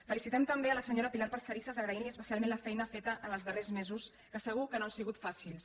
felicitem també la senyora pilar parcerisas agraint·li especialment la feina feta en els darrers mesos que segur que no han sigut fàcils